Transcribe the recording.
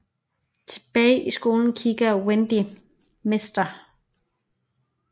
Tilbage i skolen kigger Wendy Mr